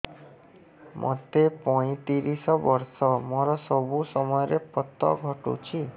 ମୋତେ ପଇଂତିରିଶ ବର୍ଷ ମୋର ସବୁ ସମୟରେ ପତ ଘଟୁଛି